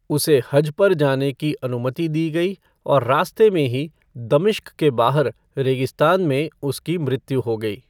उसे हज पर जाने की अनुमति दी गई और रास्ते में ही दमिश्क के बाहर रेगिस्तान में उसकी मृत्यु हो गई।